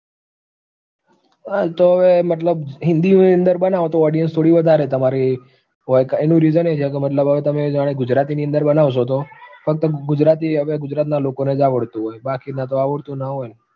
તો હવે મતલબ હિન્દીની અંદર બનાવો તો audience થોડી વધારે તમારી હોય ક એનું reason એ છે કે મતલબ તમે જાણે ગુજરાતીની અંદર બનાવશો તો ફક્ત ગુજરાતી હવે ગુજરાતના લોકોને જ આવડતું હોય, બાકીના તો આવડતું ન હોય ન